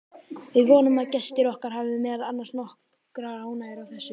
Við vonum að gestir okkar hafi meðal annars nokkra ánægju af þessu.